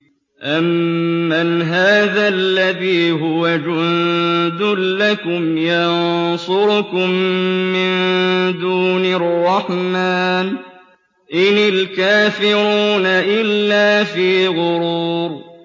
أَمَّنْ هَٰذَا الَّذِي هُوَ جُندٌ لَّكُمْ يَنصُرُكُم مِّن دُونِ الرَّحْمَٰنِ ۚ إِنِ الْكَافِرُونَ إِلَّا فِي غُرُورٍ